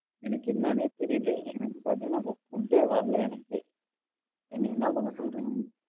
எனக்கு என்னானே தெரியல எனக்கு பார்த்தீங்கன்னா இப்போ food ஏ வரல எனக்கு. என்னை என்ன பண்ண சொல்றீங்க?